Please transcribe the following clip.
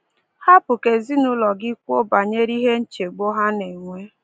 Hapụ ka ezinụụlọ gị kwuo banyere nchegbu ha na-enwe.